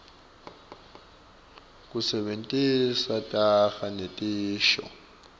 kusebentisa taga netisho